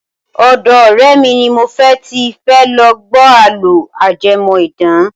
Ọ̀dọ́ ọ̀rẹ́ mi ni mo ti fẹ́ lọ gbọ́ àlọ́ ajẹmọ́ idán.